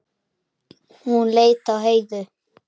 Hún leit á Heiðu.